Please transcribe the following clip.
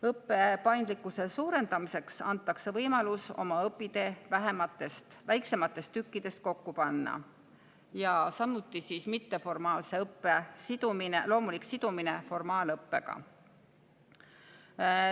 Õppe paindlikkuse suurendamiseks antakse võimalus oma õpitee väiksematest tükkidest kokku panna ja samuti on võimalik mitteformaalse õppe loomulik sidumine formaalõppega.